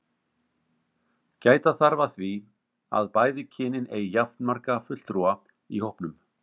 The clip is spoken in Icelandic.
Gæta þarf að því að bæði kynin eigi jafnmarga fulltrúa í hópnum.